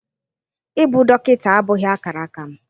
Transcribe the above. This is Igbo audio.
Ịbụ dọkịta abụghị akara aka m.